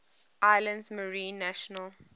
islands marine national